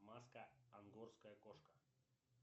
маска ангорская кошка